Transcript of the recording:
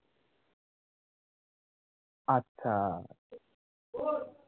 আচ্ছা